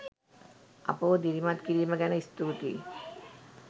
අපව දිරිමත් කිරීම ගැන ස්තුතියි.